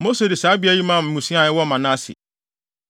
Mose de saa beae yi maa mmusua a ɛwɔ